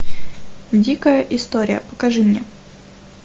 дикая история покажи мне